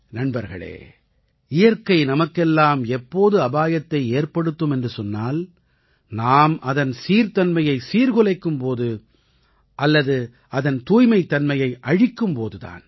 நண்பர்களே இயற்கை நமக்கெல்லாம் எப்போது அபாயத்தை ஏற்படுத்தும் என்று சொன்னால் நாம் அதன் சீர்தன்மையை சீர்குலைக்கும் போது அல்லது அதன் தூய்மைத் தன்மையை அழிக்கும் போது தான்